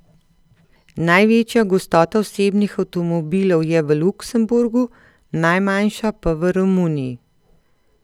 Največja gostota osebnih avtomobilov je v Luksemburgu, najmanjša pa v Romuniji.